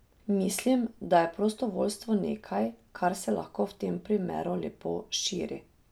Mislim, da je prostovoljstvo nekaj, kar se lahko v tem primeru lepo širi.